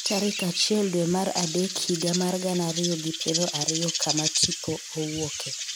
tarik achiel dwe mar adek higa mar gana ariyo gi piero ariyo kama tipo owuoke